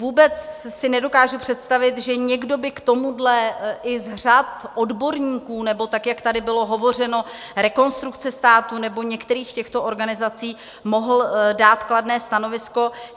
Vůbec si nedokážu představit, že někdo by k tomuhle i z řad odborníků, nebo tak jak tady bylo hovořeno - Rekonstrukce státu nebo některých těchto organizací - mohl dát kladné stanovisko.